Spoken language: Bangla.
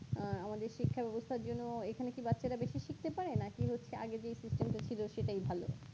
আ আমাদের শিক্ষা ব্যবস্থার জন্য এখানে কি বাচ্চারা বেশি শিখতে পারে নাকি হচ্ছে আগে যেই system টা ছিল সেটাই ভালো